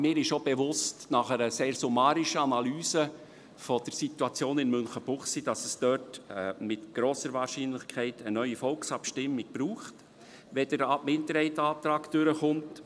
Mir ist nach einer sehr summarischen Analyse der Situation in Münchenbuchsee auch bewusst, dass es dort mit grosser Wahrscheinlichkeit eine neue Volksabstimmung braucht, wenn der Minderheitsantrag durchkommt.